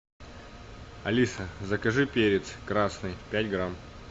алиса закажи перец красный пять грамм